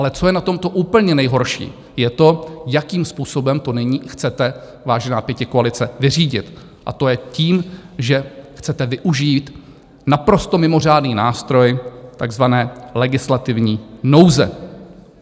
Ale co je na tomto úplně nejhorší, je to, jakým způsobem to nyní chcete, vážená pětikoalice, vyřídit, a to je tím, že chcete využít naprosto mimořádný nástroj takzvané legislativní nouze.